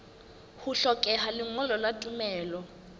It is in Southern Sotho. ho hlokeha lengolo la tumello